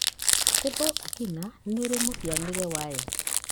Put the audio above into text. Stable angina nĩ ĩrĩ mũhĩanĩre wayo.